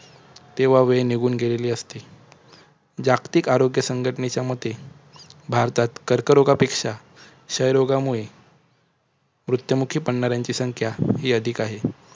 तेव्हा वेळ निघूंन गेलेली असते. जागतिक आरोग्य संघटनेच्या मते भारतात कर्करोगापेक्षा क्षयरोगामुळे मृत्युमुखी पडणाऱ्यांची संख्या जास्त अधिक आहे.